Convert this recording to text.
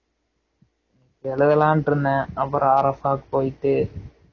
எழுதலாம்டு இருந்தேன் அப்பறம் RF ஆ போய்ட்டு